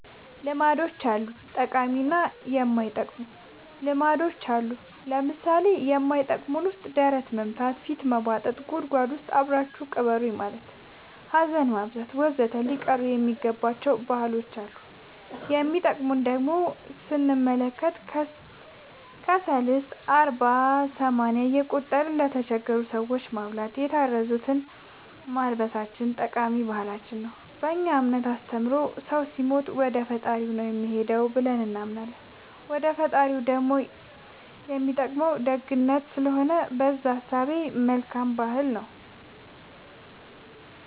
ልማዶች አሉ ጠቃሚ እና የማይጠቅሙ ልማዶች አሉን ለምሳሌ ከማይጠቅመን ውስጥ ደረት መምታ ፊት መቦጠጥ ጉድጎድ ውስጥ አብራችሁኝ ቅበሩኝ ማለት ሀዘን ማብዛት ወዘተ ሊቀሩ የሚገባ ባህሎች አሉ የሚጠቅሙን ደሞ ስንመለከት ሰልስት አርባ ሰማንያ እየቆጠርን ለተቸገሩ ሰዎች ማብላታችን የታረዙትን ማልበሳችን ጠቃሚ ባህል ነው በእኛ እምነት አስተምሮ ሰው ሲሞት ወደፈጣሪው ነው የሚሄደው ብለን እናምናለን ወደ ፈጣሪው ደሞ የሚጠቅመው ደግነት ስለሆነ በእዛ እሳቤ መልካም ባህል ነው